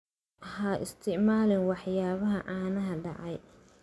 Ha isticmaalin waxyaabaha caanaha dhacay.